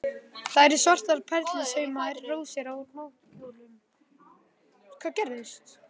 Það eru svartar perlusaumaðar rósir á náttkjólnum.